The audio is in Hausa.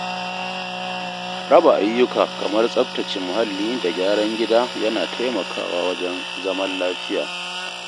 Raba ayyuka kamar tsaftace muhalli da gyaran gida yana taimakawa wajen zaman lafiya.